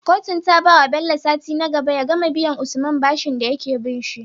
Kotun ta bawa Bello sati nagaba ya gama biyan usman bashin dayake binshi